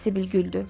Sibil güldü.